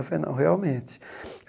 Eu falei, não, realmente.